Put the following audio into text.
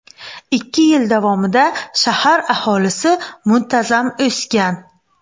Ikki yil davomida shahar aholisi muntazam o‘sgan.